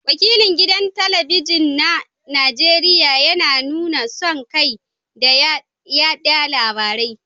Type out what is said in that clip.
Wakilin gidan talabijin na Najeriya yana nuna son kai da yada labarai